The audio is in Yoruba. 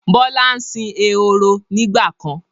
Bọlá ń sìn ehoro nígbàkan.